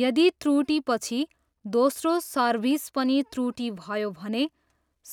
यदि त्रुटिपछि, दोस्रो सर्भिस पनि त्रुटि भयो भने,